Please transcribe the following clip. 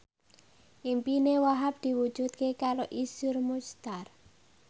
impine Wahhab diwujudke karo Iszur Muchtar